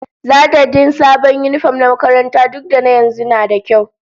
Zata din sabon yinifom na makaranta duk da na yanzu nada kyau